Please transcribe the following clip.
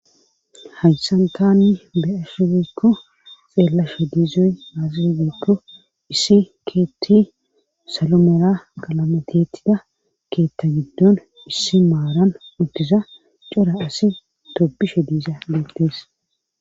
haysantaanni be ashubikko xeellasha diizuy aaxi guppo issi keetti salomera qalamatettida keetta giddon issi maaran uttisa cora asi toppishe diisa geeltees